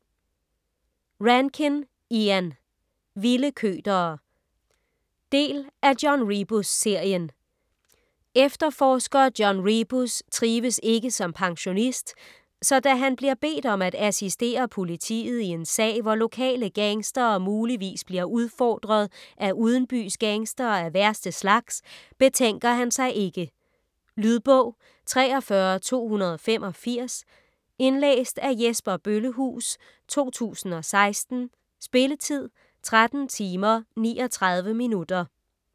Rankin, Ian: Vilde køtere Del af John Rebus-serien. Efterforsker John Rebus trives ikke som pensionist, så da han bliver bedt om at assistere politiet i en sag, hvor lokale gangstere muligvis bliver udfordret af udenbys gangstere af værste slags, betænker han sig ikke. Lydbog 43285 Indlæst af Jesper Bøllehuus, 2016. Spilletid: 13 timer, 39 minutter.